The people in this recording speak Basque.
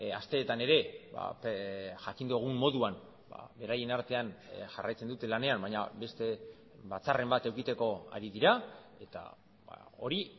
asteetan ere jakin dugun moduan beraien artean jarraitzen dute lanean baina beste batzarren bat edukitzeko ari dira eta hori